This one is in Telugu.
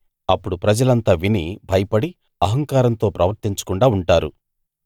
అప్పుడు ప్రజలంతా విని భయపడి అహంకారంతో ప్రవర్తించకుండా ఉంటారు